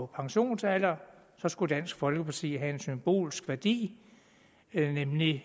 pensionsalder så skulle dansk folkeparti have en symbolsk værdi nemlig